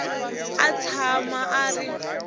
a a tshama a ri